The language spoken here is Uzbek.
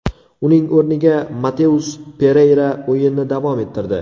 Uning o‘rniga Mateus Pereyra o‘yinni davom ettirdi.